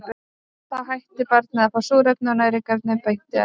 Þá hættir barnið að fá súrefni og næringarefni beint í æð.